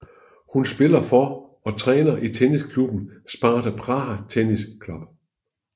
Hun spiller for og træner i tennisklubben Sparta Praha Tennis Club